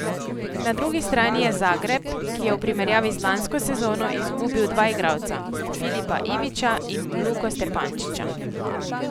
Na drugi strani je Zagreb, ki je v primerjavi z lansko sezono izgubil dva igralca, Filipa Ivića in Luko Stepančića.